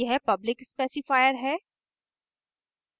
यह public specifier है